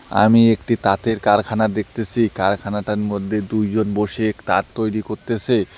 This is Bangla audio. আমি একটি তাঁতের কারখানা দেখতেসি কারখানাটার মধ্যে দুইজন বসে তাত তৈরি করতেসে।